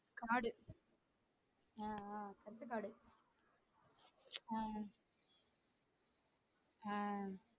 காடு ஆஹ் ஆஹ் பருத்திகாடு ஆஹ் ஆஹ்